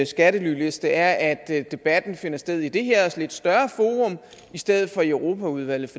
skattelyliste er at debatten finder sted i det her lidt større forum i stedet for i europaudvalget